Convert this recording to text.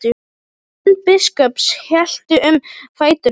Menn biskups héldu um fætur honum.